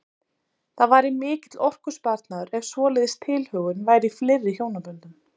Það væri mikill orkusparnaður ef svoleiðis tilhögun væri í fleiri hjónaböndum.